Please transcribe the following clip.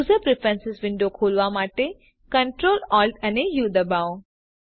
user preference window ખોલવા માટે Ctrl Alt અને ઉ દબાવો